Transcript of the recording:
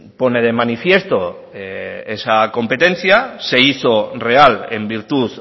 pone de manifiesto esa competencia se hizo real en virtud